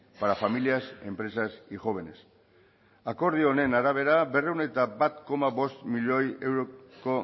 para familias empresas y jóvenes akordio honen arabera berrehun eta bat koma bost milioi euroko